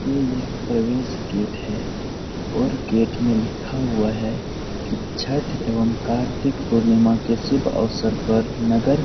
यह एक प्रवेश गेट है और गेट में लिखा हुआ है कि छट एवंम कार्तिक पूर्णिमा के शुभ अवसर पर नगर --